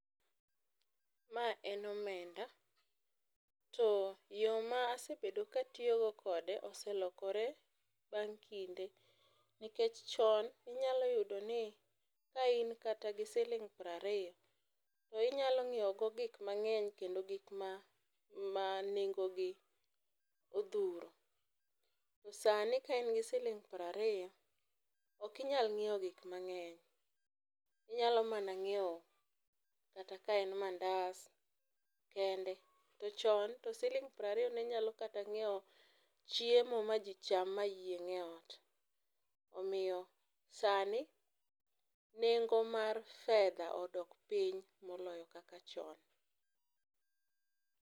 Ma en omenda, to yo ma asebedo katiyogo kode oselokore bang' kinde nikech chon inyalo yudo ni ka in kata siling' prariyo to inyalo ng'ieogo gik mang'eny kendo gikma ma nengogi odhuro. Sani ka in gi siling' prariyo, ok inyal ng'ieo gik mang'eny. Inyalo mana ng'ieo kata ka en mandas kende, to chon siling' prariyo ne nyalo nyieo kata mana chiemo ma ji cham ma yieng' e ot. Omiyo sani, nengo mar fedha odok piny moloyo kaka chon.